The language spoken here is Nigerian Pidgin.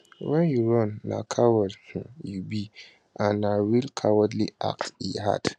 wen you run na coward um you be and na real cowardly act e add